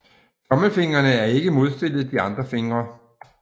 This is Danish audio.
Tommelfingrene er ikke modstillet de andre fingre